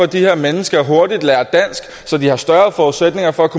de her mennesker hurtigt lærer dansk så de får større forudsætninger for